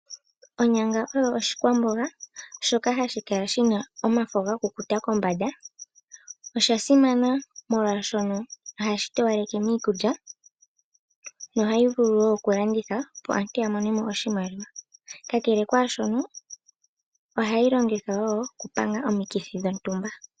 Onyanga oyo oshikwamboga shoka hashi kala shina omafo gakukuta kombanda, osha simana molwashono ohashi towaleke miikulya, nohayi vulu wo oku landithwa opo aantu ya mone mo oshimaliwa, kakele kwaashono oha yi longithwa wo oku panga omikithi dhontumba.